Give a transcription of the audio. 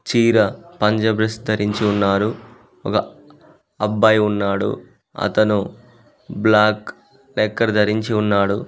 చీర పంజాబ్ డ్రెస్ ధరించి ఉన్నారు ఒగ అబ్బాయి ఉన్నాడు అతను బ్లాక్ ధరించి ఉన్నాడు.